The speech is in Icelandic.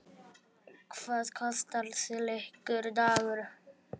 Hvað kostar slíkur dagur?